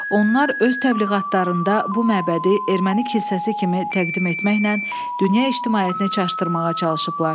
Onlar öz təbliğatlarında bu məbədi erməni kilsəsi kimi təqdim etməklə dünya ictimaiyyətini çaşdırmağa çalışıblar.